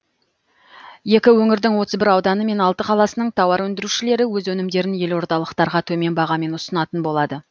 екі өңірдің отыз бір ауданы мен алты қаласының тауар өндірушілері өз өнімдерін елордалықтарға төмен бағамен ұсынатын болады